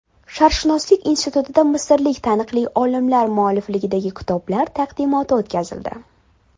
Sharqshunoslik institutida misrlik taniqli olimlar muallifligidagi kitoblar taqdimoti o‘tkazildi.